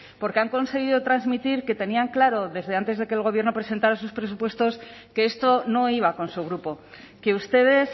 porque han conseguido transmitir que tenían claro desde antes de que el gobierno presentara sus presupuestos que esto no iba a con su grupo que ustedes